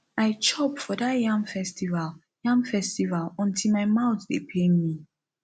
i chop for dat yam festival yam festival until my mouth dey pain me